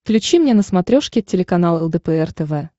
включи мне на смотрешке телеканал лдпр тв